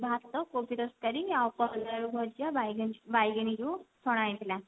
ଭାତ କୋବି ତରକାରୀ ଆଉ କଦଳୀ ଆଳୁ ଭଜା ବାଇଗଣି ବାଇଗଣି ଯୋଉ ଛଣା ହେଇ ଥିଲା